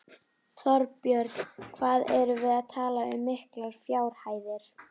Þorbjörn: Hvað erum við að tala um miklar fjárhæðir?